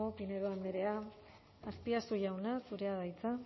pinedo andrea azpiazu jauna zurea da hitza